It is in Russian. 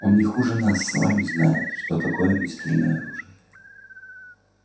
он не хуже нас с вами знает что такое огнестрельное оружие